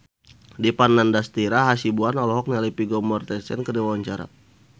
Dipa Nandastyra Hasibuan olohok ningali Vigo Mortensen keur diwawancara